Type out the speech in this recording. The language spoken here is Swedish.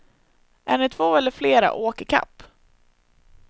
Är ni två eller flera, åk i kapp.